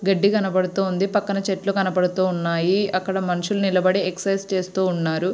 గడ్డి కనబడుతుంది పక్కన చెట్లు కనబడుతున్నాయి అక్కడ మనుసులు నిలబడి ఎక్సర్సిస్ చేస్తున్నారు.